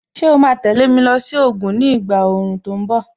Ṣé o ma tẹ̀lé mi lọ sí Ògùn ni ìgbà òòrùn tó ń bọ̀?